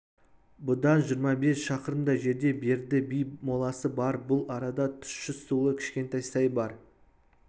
бұдан жиырма бес шақырымдай жерде берді би моласы бар бұл арада тұщы сулы кішкентай сай бар